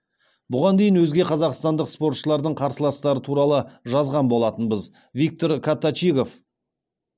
бұған дейін өзге қазақстандық спортшылардың қарсыластары туралы жазған болатынбыз виктор коточигов